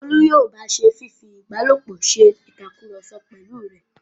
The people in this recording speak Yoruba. Olú yóò ba se fífi ìbálòpọ̀ se ìtakùrọ̀sọ pẹ̀lú rẹ̀.